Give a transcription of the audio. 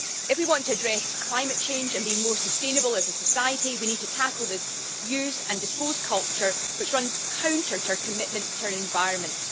If we want to address climate change and be more sustainable as a society, we need to tackle this use and dispose culture which runs counter to our commitments to the environment.